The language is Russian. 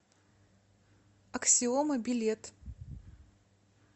аксиома билет